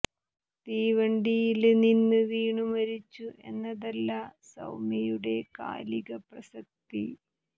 തീവണ്ടിയില് നിന്ന് വീണു മരിച്ചു എന്നതല്ല സൌമ്യയുടെ കാലിക പ്രസക്തി